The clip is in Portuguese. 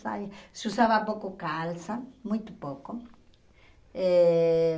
saia. Se usava pouco calça, muito pouco. Eh